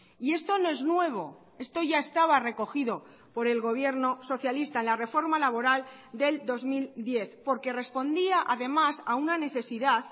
y esto no es nuevo esto ya estaba recogido por el gobierno socialista en la reforma laboral del dos mil diez porque respondía además a una necesidad